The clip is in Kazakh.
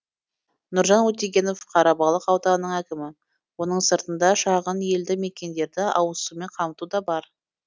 нұржан өтегенов қарабалық ауданының әкімі оның сыртында шағын елді мекендерді ауызсумен қамту да бар